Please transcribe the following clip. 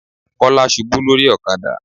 Kọ́lá ṣubú lórí ọ̀kadà.